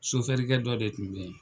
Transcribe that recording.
Sofɛrikɛ dɔ de kun be yen.